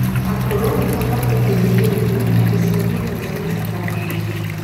Akũrũ nimabatie kũirigirirĩa indo cia kũnyua ciĩna cukari mũingĩ